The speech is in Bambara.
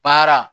Baara